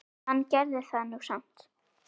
Hann gerði það nú samt.